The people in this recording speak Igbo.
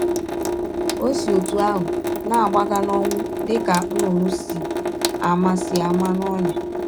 Ọ si ọtụ ahụ na - agbaga n’ọnwụ dị ka nnụnụ si ama si ama n’ọnyà!